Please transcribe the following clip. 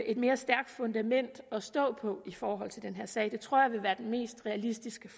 et mere stærkt fundament at stå på i forhold til den her sag det tror jeg vil være den mest realistiske